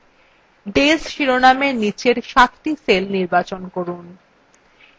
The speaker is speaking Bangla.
days শিরোনামের নীচের সাতটি cells নির্বাচন করুন